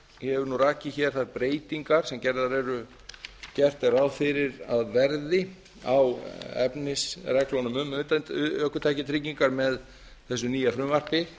ég hef rakið þær breytingar sem gert er ráð fyrir að verði á efnisreglunum um ökutækjatryggingar með þessu nýja frumvarpi